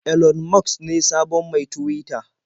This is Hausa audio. Elon Musk ne sabon mai Tuwita.